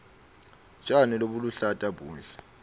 tjani lobuluhlata buhle